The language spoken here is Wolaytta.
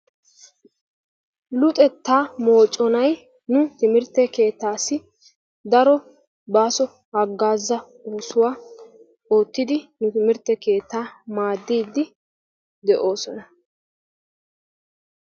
Luxetta moconay nu timirtte keettaassi daro baaso haggaaza oosuwaa oottiidi nu timirtte keetta maaddiidi de'oosona.